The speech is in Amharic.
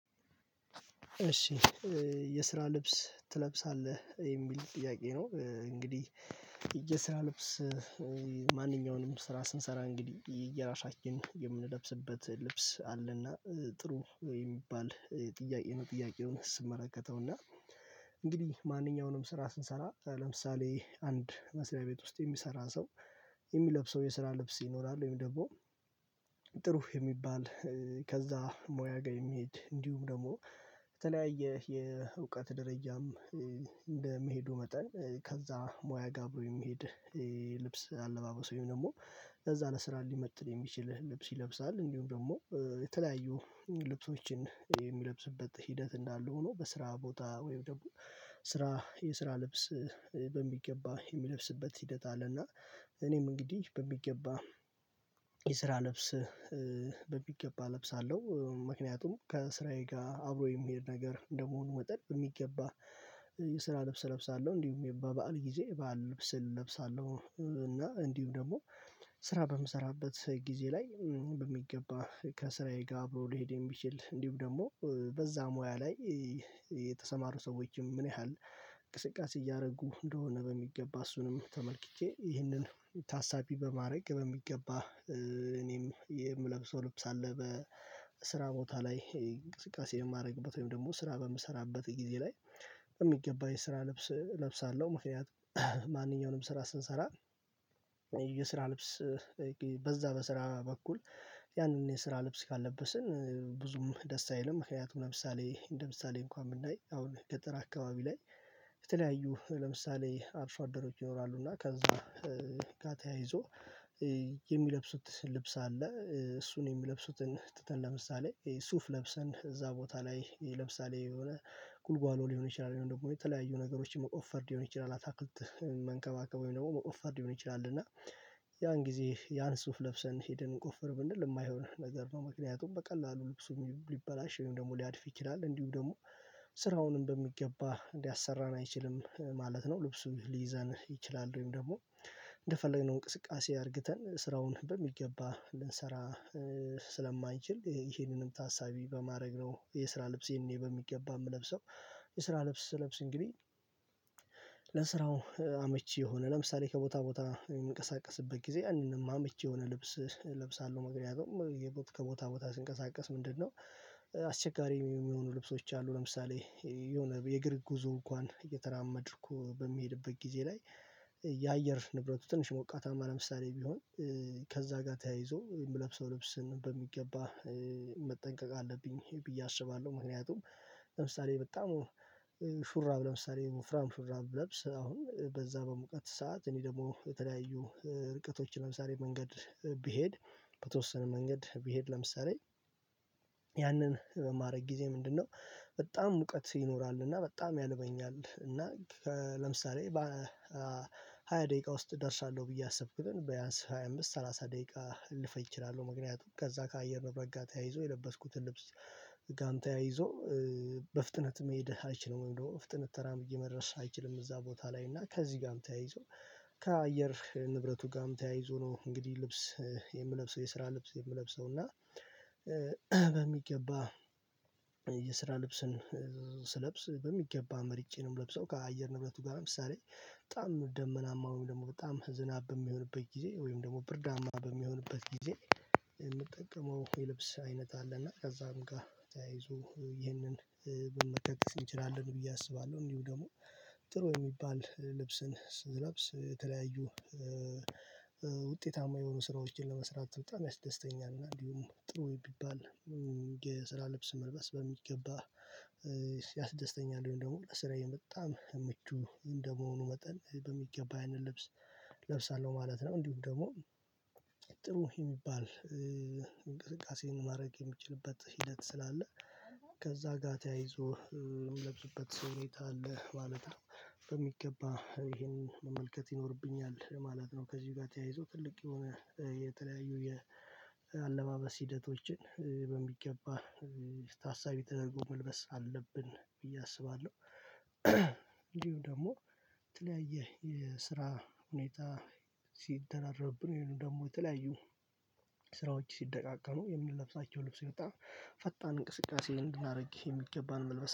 እሺ የስራ ልብስ ትለብሳለህ? የሚል ጥያቄ ነው እንግዲህ ልብስ ማንኛውንም ስራ ስንሰራ እንግዲህ የራሳችን የምንለብስበት ልብስ አለና። ጥሩ ወይም የሚባል የጥያቄ ነው ጥያቄውን ስመለከተውና እንግዲህ ማንኛውንም ስራ ስንሰራ ለምሳሌ አንድ መስሪያ ቤት ውስጥ የሚሰራ ሰው፤ የሚለብሰው የስራ ልብስ ይኖራል፤ ወይም ደግሞ ጥሩ የሚባል ከዛ ሞያ ጋር የሚሄድ፤ እንዲሁም ደግሞ በተለያየ የእውቀት ደረጃም እንደሚሄዱ መጠን ከዛ ሙያ ጋር አብሮ የሚሄድ የልብስ አለባበሶች ወይም ደግሞ፤ ለዛ ለስራ ሊመጥን የሚችል ልብስ ይለብሳል እንዲሁም ደግሞ የተለያዩ ልብሶችን የሚለብስበት ሂደት እንዳሉ ሆኖ፤ በስራ ቦታ ወይም ደግሞ ስራ የስራ ልብስ በሚገባ የሚለብስበት ሂደት አለና፤ እኔም እንግዲህ በሚገባ የስራ ልብስ በሚገባ እለብሳለሁ። ምክንያቱም ከስራዬ ጋር አብሮ የሚሄድ ነገር እንደመሆኑ መጠን የሚገባ የስራ ልብስ እለብሳለሁ እንዲሁም በባዓል ጊዜ ባል ልብስ እለብሳለሁ። እና እንዲሁ ደግሞ ስራ በምሰራበት ጊዜ ላይ በሚገባ ከስራዬ ጋር አብሮ ሊሄድ የሚችል እንዲሁ ደግሞ በዛ ሙያ ላይ የተሰማሩ ሰዎችም ምን ያህል እንቅስቃሴ እያደረጉ እንደሆነ በሚገባ እሱንም ተመልክቼ፤ ይህንን ታሳቢ በማድረግ በሚገባ እኔም የምለብሰው ልብስ አለ በስራ ቦታ ላይ። እንቅስቃሴ የማደርግበት ወይም ደግሞ ስራ በምሰራበት ጊዜ ላይ በሚገባ የስራ ልብስ እለብሳለሁ። ምክንያት ማንኛውንም ስራ ስንሰራ፤ የስራ ልብስ በዛ በስራ በኩል ያንን የስራ ልብስ ካልለበስን፤ ብዙም ደስ አይልም ምክንያቱም ለምሳሌ እንደምሳሌ እንኳን ብናይ አሁን ገጠር አካባቢ ላይ ለምሳሌ አርሶ አደሮች ይኖራሉ፤ እና ከዛ ጋር ተያይዞ የሚለብሱት ልብስ አለ እሱን የሚለብሱትን ትተን፤ ለምሳሌ ሱፍ ለብሰን እዛ ቦታ ላይ ለምሳሌ የሆነ ጉልጓሎ ሊሆን ይችላል፤ ደግሞ የተለያዩ ነገሮችን መቆፈር ሊሆን ይችላል፤ አታክልት መንከባከብ ወይም ደግሞ መቆፈር ሊሆን ይችላል፤ እና ያን ጊዜ ያን ሱፍ ለብሰን ሄደን እንቆፈር ብንል፤ የማይሆን ነገር ነው ምክንያቱም በቀላሉ ልብሱም ሊበላሽ፤ ወይም ደግሞ ሊያድፍ ይችላል፤ እንዲሁ ደግሞ ስራውንም በሚገባ ሊያሰራን አይችልም ማለት ነው፤ ልብሱ ሊይዘን ይችላል ወይም ደግሞ እንደፈለግነው እንቅስቃሴ አድርግተን ስራውን በሚገባ ልንሰራ፤ ስለማንችል ይሄንንም ታሳቢ በማድረግ ነው የስራ ልብሴን እኔ በሚገባ የምለብሰው። የስራ ልብስ ስለብስ እንግዲህ ለስራው አመቺ የሆነ ለምሳሌ ከቦታ ቦታ የሚንቀሳቀስበት ጊዜ አንድም አመች የሆነ ልብስ እለብሳለሁ። ምክንያቱም ከቦታ ቦታ ሲንቀሳቀስ ምንድነው አስቸጋሪ የሚሆኑ ልብሶች አሉ፤ ለምሳሌ የሆነ የእግር ጉዞ እንኳን እየተራመድኩ በሚሄድበት ጊዜ ላይ የአየር ንብረቱ ትንሽ ሞቃታማ ለምሳሌ ቢሆን፤ ከዛ ጋር ተያይዞ የምለብሰው ልብስን በሚገባ መጠንቀቅ አለብኝ ብዬ አስባለሁ፤ ምክንያቱም ለምሳሌ በጣም ሹራብ ለምሳሌ ወፍራም ሹራብ ብለብስ አሁን በዛ በሙቀት ሰዓት እኔ ደግሞ የተለያዩ ርቀቶችን ለምሳሌ መንገድ ቢሄድ በተወሰነ መንገድ ቢሄድ፤ ለምሳሌ ያንን በማድረግ ጊዜ ምንድነው በጣም ሙቀት ይኖራል እና በጣም ያልበኛል። እና ለምሳሌ በሃያ ደቂቃ ውስጥ እደርሳለሁ ብዬ ያሰብኩትን በያንስ ሃያ አምስት ሰላሳ ደቂቃ ልፈጅ እችላለሁ። ምክንያቱም ከዛ ከአየር ነገር ጋር ተያይዞ የለበስኩትን ልብስ ጋርም ተያይዞ በፍጥነት መሄድ አይችልም ወይም ደግሞ ፍጥነት ተራምዬ መድረስ አይችልም እዛ ቦታ ላይ። እና ከዚህ ጋርም ተያይዞ ከአየር ንብረቱ ጋርም ተያይዞ ነው እንግዲህ ልብስ የምለብሰው የስራ ልብስ የምለብሰው። እና በሚገባ የስራ ልብስን ስለብስ በሚገባ መሪጬ ነው የምለብሰው። ከአየር ንብረቱ ጋርም ለምሳሌ በጣም ደመናማ ወይም ደግሞ በጣም ዝናብ በሚሆንበት ጊዜ፤ ወይም ደግሞ ብርዳማ በሚሆንበት ጊዜ፤ የምጠቀመው የልብስ አይነት አለና። ከዛም ጋር ተያይዞ ይህንን መጥቀስ እንችላለን ብዬ አስባለሁ። እንዲሁ ደግሞ ጥሩ የሚባል ልብስን ስንለብስ የተለያዩ ውጤታማ የሆኑ ስራዎችን ለመስራት በጣም ያስደስተኛል። እና እንዲሁም ጥሩ ቢባል የስራ ልብስ መልበስ በሚገባ ያስደስተኛል ወይ እንደውም ስራዬን በጣም ምቹ እንደመሆኑ መጠን፤ በሚገባ ያንን ልብስ እለብሳለሁ ማለት ነው። እንዲሁም ደግሞ ጥሩ የሚባል እንቅስቃሴን ማድረግ የሚችልበት ሂደት ስላለ፤ ከዛ ጋር ተያይዞ የምለብስበት ሁኔታ አለ ማለት ነው። በሚገባ ይሄንን መመልከት ይኖርብኛል ማለት ነው፤ ከዚህ ጋር ተያይዞ ትልቅ የሆነ የተለያዩ የአለባበስ ሂደቶችን ታሳቢ ተደርጎ መልበስ አለብን ብዬ አስባለሁ፤ እንዲሁ ደግሞ የተለያየ የስራ ሁኔታ ስደራረብብን ወይንም ደግሞ፤ የተለያዩ ስራዎች ሲደቃቀኑ የምንለብሳቸው ልብስ አይነት ፈጣን እንቅስቃሴ እንድናደርግ የሚገባን መልበስ